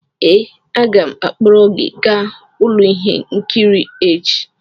ee, aga m akpọrọ gị gaa ụlọ ihe nkiri echi